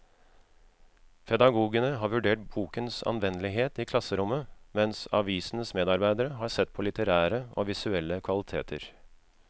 Pedagogene har vurdert bokens anvendelighet i klasserommet, mens avisens medarbeidere har sett på litterære og visuelle kvaliteter.